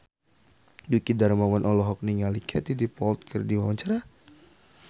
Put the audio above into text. Dwiki Darmawan olohok ningali Katie Dippold keur diwawancara